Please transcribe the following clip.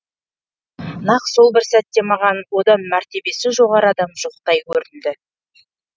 нақ сол бір сәтте маған одан мәртебесі жоғары адам жоқтай көрінді